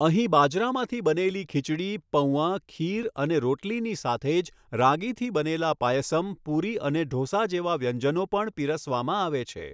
અહીં બાજરામાંથી બનેલી ખીચડી, પૌઆ, ખીર અને રોટલીની સાથે જ રાગીથી બનેલા પાયસમ, પૂરી અને ઢોસા જેવા વ્યંજનો પણ પીરસવામાં આવે છે.